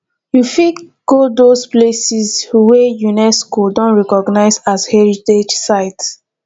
we fit go those places wey unesco don recognise as heritage site